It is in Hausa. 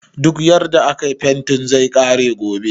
Duk yarda akayi fentin zai kare gobe